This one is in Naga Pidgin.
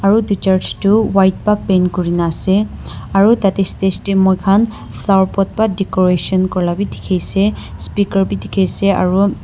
aru edu church tu white pa paint kurina ase aro tatae stage moikhan flower pot pa decoration kurila bi dikhiase speaker bi dikhiase aro.